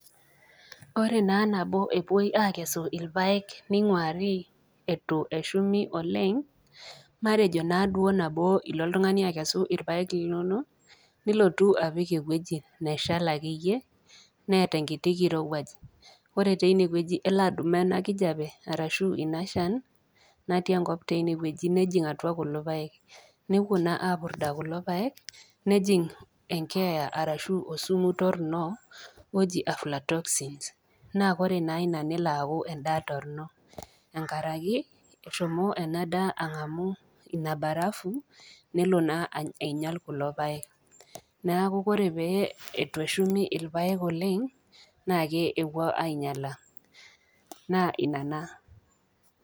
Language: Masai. Ore naa nabo ewoi akesu ilpaek neing'uari eitu eshumi oleng, matejo naaduo nabo ilo oltung'ani akesu ilpaek linono nilotu apik ewueji neshal akeyie neata enkiti kirowuaj, ore teine wueji naa elo adumaa ena kijape ashu ina shan natii enkop teinewueji nejing' atua kulo paek newuo naa apurda kulo paek nejing' enkeeya arashu osumu torrono oji afflatoxins naa ore naa ina melo aku endaa torrino, engarake, eshomo ena daa ang'amu ina barafu nelo naa ainyal kulo paek. Neaku ore pee etueshumi ilpaek oleng, naa kewuo ainyala. Naa ina naa.